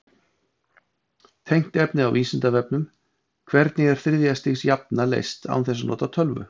Tengt efni á Vísindavefnum: Hvernig er þriðja stigs jafna leyst án þess að nota tölvu?